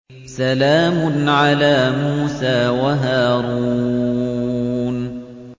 سَلَامٌ عَلَىٰ مُوسَىٰ وَهَارُونَ